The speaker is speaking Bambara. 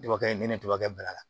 Dɔgɔkɛ in ne dɔgɔkɛ bila la